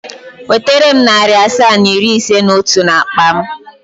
Wetere m narị asaa na iri ise na otu n'akpa m!.